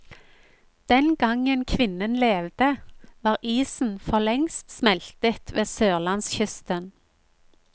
Den gangen kvinnen levde, var isen forlengst smeltet ved sørlandskysten.